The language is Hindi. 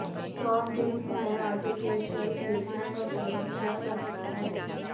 सॉफ्ट ड्रिंक्स में आर्टिफिशियल स्वीटनर का प्रयोग किया जाता है